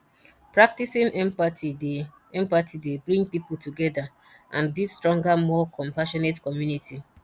practicing empathy dey empathy dey bring people together and build stronger more compassionate community